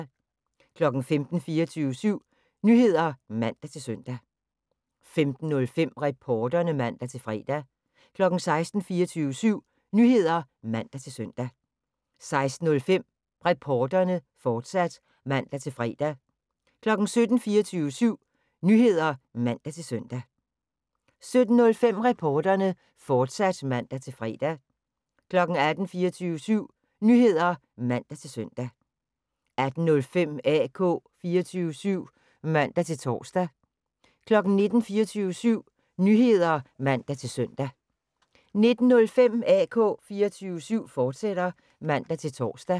15:00: 24syv Nyheder (man-søn) 15:05: Reporterne (man-fre) 16:00: 24syv Nyheder (man-søn) 16:05: Reporterne, fortsat (man-fre) 17:00: 24syv Nyheder (man-søn) 17:05: Reporterne, fortsat (man-fre) 18:00: 24syv Nyheder (man-søn) 18:05: AK 24syv (man-tor) 19:00: 24syv Nyheder (man-søn) 19:05: AK 24syv, fortsat (man-tor)